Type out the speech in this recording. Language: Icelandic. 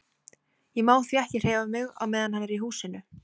Ég má því ekki hreyfa mig á meðan hann er í húsinu.